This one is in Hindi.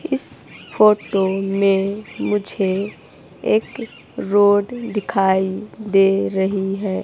इस फोटो में मुझे एक रोड दिखाई दे रही है।